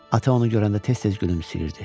Ata onu görəndə tez-tez gülümsəyirdi.